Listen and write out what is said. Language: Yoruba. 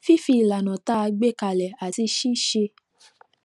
fífi ìlànà tá a gbé kalẹ àti ṣíṣe